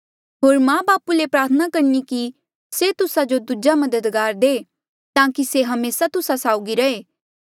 होर मां बापू ले प्रार्थना करणी कि से तुस्सा जो दूजा मददगार दे ताकि से हमेसा तुस्सा साउगी रहे